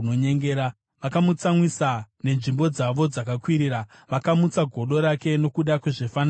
Vakamutsamwisa nenzvimbo dzavo dzakakwirira; vakamutsa godo rake nokuda kwezvifananidzo zvavo.